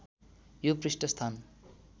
यो पृष्ठ स्थान